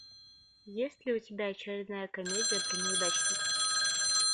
есть ли у тебя очередная комедия про неудачников